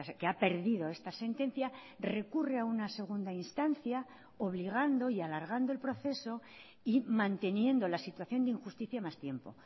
que ha perdido esta sentencia recurre a una segunda instancia obligando y alargando el proceso y manteniendo la situación de injusticia más tiempo